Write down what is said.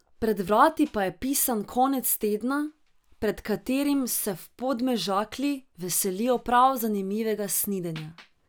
Pred vrati pa je pisan konec tedna, pred katerim se v Podmežakli veselijo prav zanimivega snidenja.